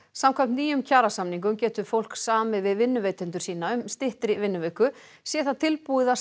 samkvæmt nýgerðum kjarasamningum getur fólk samið við vinnuveitendur sína um styttri vinnuviku sé það tilbúið að